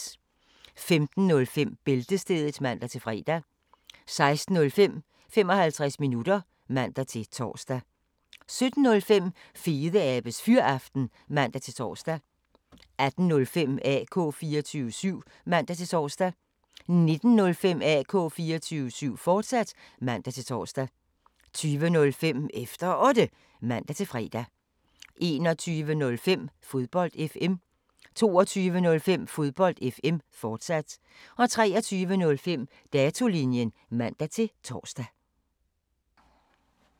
15:05: Bæltestedet (man-fre) 16:05: 55 minutter (man-tor) 17:05: Fedeabes Fyraften (man-tor) 18:05: AK 24syv (man-tor) 19:05: AK 24syv, fortsat (man-tor) 20:05: Efter Otte (man-fre) 21:05: Fodbold FM 22:05: Fodbold FM, fortsat 23:05: Datolinjen (man-tor)